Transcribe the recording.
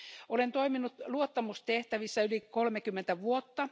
Olen toiminut luottamustehtävissä yli kolmekymmentä vuotta.